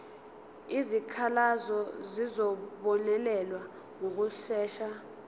izikhalazo zizobonelelwa ngokushesha